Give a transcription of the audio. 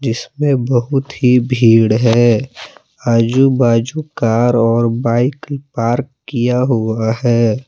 इसमें बहुत ही भीड़ है आजू बाजू कार और बाइक पार्क किया हुआ है।